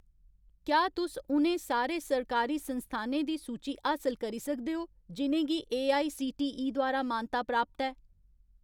क्या तुस उ'नें सारे सरकारी संस्थानें दी सूची हासल करी सकदे ओ जि'नें गी एआईसीटीई द्वारा मानता प्राप्त ऐ ?